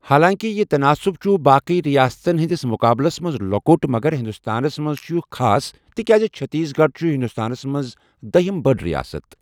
حالانٛکہِ یہِ تناسب چھُ باقٕی ریاستَن ہٕنٛدِس مُقابلَس منٛز لۄکُٹ مگر ہندوستانَس منٛز چھُ یہِ خاص تِکیٛازِ چھتیس گڑھ چھُ ہندوستانَس منٛز داہ ہِم بٔڑ رِیاسَت۔